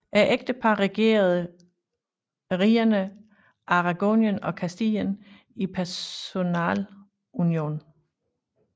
Ægteparret regerede rigerne Aragonien og Kastilien i personalunion